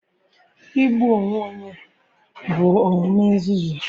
Igbu onwe onye bụ omume nzuzu.